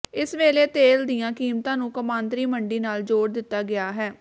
ਇਸ ਵੇਲੇ ਤੇਲ ਦੀਆਂ ਕੀਮਤਾਂ ਨੂੰ ਕੌਮਾਂਤਰੀ ਮੰਡੀ ਨਾਲ ਜੋੜ ਦਿੱਤਾ ਗਿਆ ਹੈ